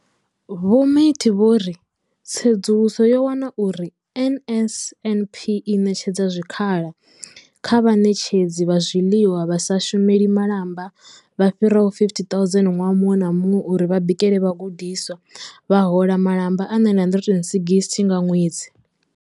Vho Mathe vho ri. Tsedzuluso yo wana uri NSNP i ṋetshedza zwikhala kha vhaṋetshedzi vha zwiḽiwa vha sa shumeli malamba vha fhiraho 50 000 ṅwaha muṅwe na muṅwe uri vha bikele vhagudiswa, vha hola malamba a R960 nga ṅwedzi.